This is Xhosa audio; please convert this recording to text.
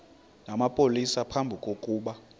namapolisa phambi kokuba